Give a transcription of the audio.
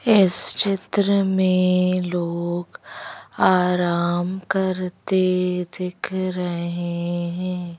इस चित्र में लोग आराम करते दिख रहे हैं।